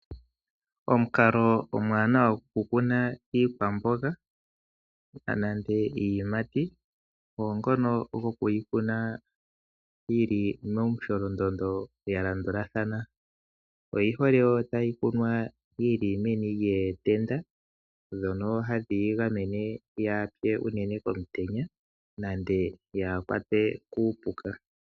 Omukalo omuwanawa gokukuna iikwamboga nenge iiyimati ogo ngono gokuyi kuna yi li momusholondondo ya landulathana. Oyi hole tayi kunwa yi li meni lyootenda ndhono hadhi yi gamene yaa pye unene komutenya nenge yaa kwatwe kuupuka.